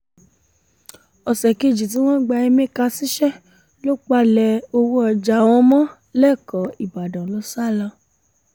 ọ̀sẹ̀ kejì tí wọ́n gba emeka síṣẹ́ ló palẹ̀ owó ọjà wọn mọ́ lẹ́kọ̀ọ́ ìbàdàn ló sá lọ